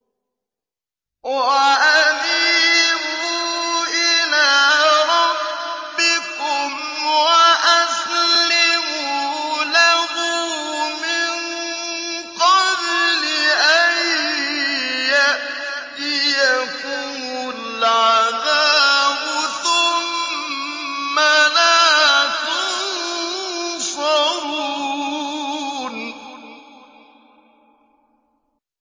وَأَنِيبُوا إِلَىٰ رَبِّكُمْ وَأَسْلِمُوا لَهُ مِن قَبْلِ أَن يَأْتِيَكُمُ الْعَذَابُ ثُمَّ لَا تُنصَرُونَ